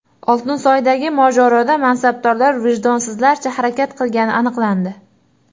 Oltinsoydagi mojaroda mansabdorlar vijdonsizlarcha harakat qilgani aniqlandi.